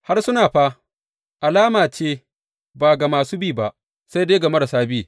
Harsuna fa alama ce ba ga masu bi ba, sai dai ga marasa bi.